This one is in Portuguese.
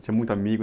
Tinha muito amigo?